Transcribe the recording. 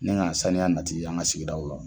Ni ka saniya nati an ka sigidaw la.